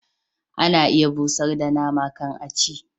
Ana iya busar da nama kan a ci